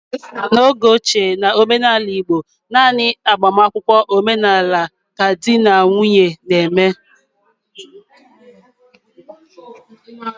N'oge ochie, n'omenala igbo, naanị agbamakwụkwọ omenala ka ndị di na nwunye na-eme